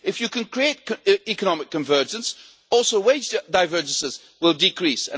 If you can create economic convergence, wage divergences will decrease.